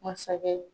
Masakɛ